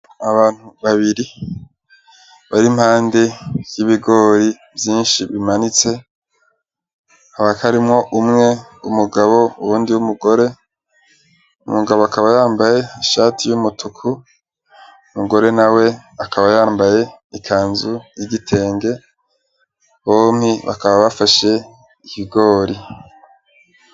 Abantu babiri bar'impande y'ibigori vyinshi bimanitse, hakaba harimwo umwe umugabo uwundi w'umugore; umugabo akaba yambaye ishati y'agahama, umugore nawe akaba yambaye ikanzu y'igitenge, bompi bakaba bafashe ibigori.